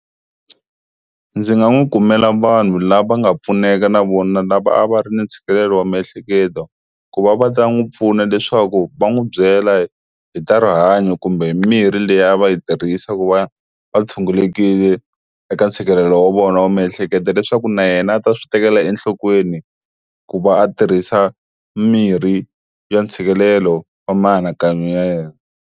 Ndzi nga n'wi kumela vanhu lava nga pfuneka na vona lava a va ri ni ntshikelelo wa miehleketo ku va va ta n'wi pfuna leswaku va n'wi byela hi ta rihanyo kumbe mirhi liya a va yi tirhisa ku va va tshungulekile eka ntshikelelo wa vona wa miehleketo, leswaku na yena a ta swi tekela enhlokweni ku va a tirhisa mirhi ya ntshikelelo wa mianakanyo ya yena.